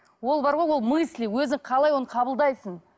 ол бар ғой ол мысли өзің қалай оны қабылдайсың